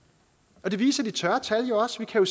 og det viser de tørre tal jo også vi kan